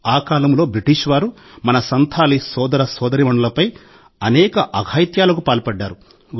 ఆ కాలంలో బ్రిటిష్ వారు మన సంథాలీ సోదర సోదరీమణులపై అనేక అఘాయిత్యాలకు పాల్పడ్డారు